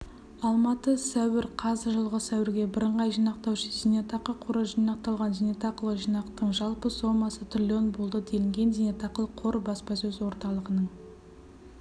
алматы сәуір қаз жылғы сәуірге бірыңғай жинақтаушы зейнетақы қоры жинақталған зейнетақылық жинақтың жалпы сомасы трлн болды делінген зейнетақылық қор баспасөз орталығының